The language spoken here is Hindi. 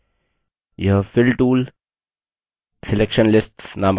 यह fill tool selection lists नामक tools हैं